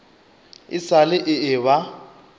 e sa le e eba